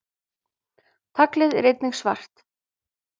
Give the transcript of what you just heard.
taglið er einnig svart